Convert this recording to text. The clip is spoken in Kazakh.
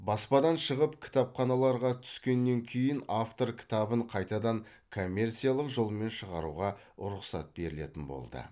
баспадан шығып кітапханаларға түскеннен кейін автор кітабын қайтадан коммерциялық жолмен шығаруға рұқсат берілетін болды